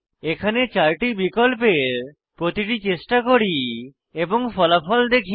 এখানে আমরা 4 টি বিকল্পের প্রতিটি চেষ্টা করি এবং ফলাফল দেখি